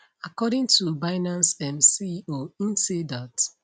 according to binance um ceo im say dat